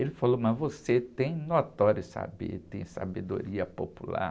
Ele falou, mas você tem notório saber, tem sabedoria popular.